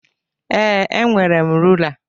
Ee, enwere m rula.